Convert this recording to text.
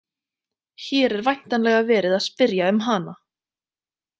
Hér er væntanlega verið að spyrja um hana.